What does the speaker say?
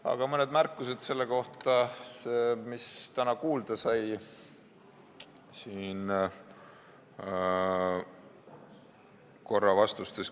Aga mõni märkus selle kohta, mida täna kuulda sai.